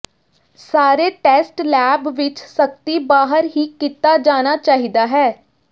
ਸਾਰੇ test lab ਵਿਚ ਸਖਤੀ ਬਾਹਰ ਹੀ ਕੀਤਾ ਜਾਣਾ ਚਾਹੀਦਾ ਹੈ